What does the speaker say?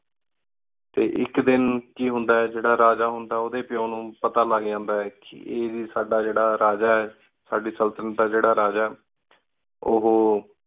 T ਏਕ ਦੇਣ ਕੀ ਹੁੰਦਾ ਆਯ ਕੀ ਜੀਰਾ ਰਾਜਾ ਹੁੰਦਾ ਉਦਯ ਪਿਉ ਨੂ ਪਤਾ ਲਘ ਜਾਂਦਾ ਆਯ ਕੀ ਸਦਾ ਜੀਰਾ ਰਾਜਾ ਆਯ ਸਾਡੀ ਸਲ੍ਤਨਤ ਦਾ ਜੀਰਾ ਰਾਜਾ ਆਯ ਉਹੁ